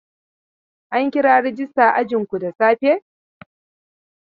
An kira rajista a ajinku da safe?